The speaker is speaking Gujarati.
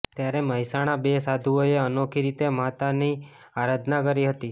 ત્યારે મહેસાણા બે સાધુઓએ અનોખી રીતે માતાની આરાધના કરી હતી